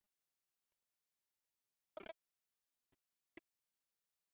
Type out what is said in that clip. Ja, ég er náttúrulega búin að vera á fullu að undirbúa krýningarveisluna.